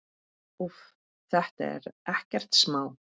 Úff, þetta er ekkert smá.